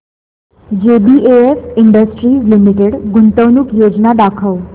JBF industries limited गुंतवणूक योजना दाखव